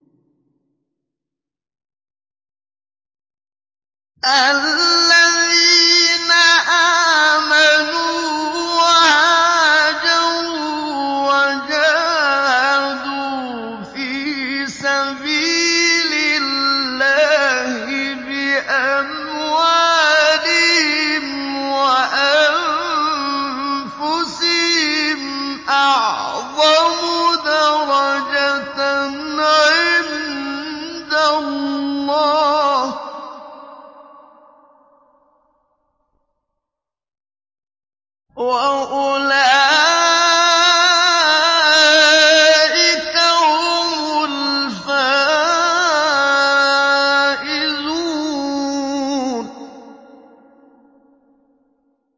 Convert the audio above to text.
الَّذِينَ آمَنُوا وَهَاجَرُوا وَجَاهَدُوا فِي سَبِيلِ اللَّهِ بِأَمْوَالِهِمْ وَأَنفُسِهِمْ أَعْظَمُ دَرَجَةً عِندَ اللَّهِ ۚ وَأُولَٰئِكَ هُمُ الْفَائِزُونَ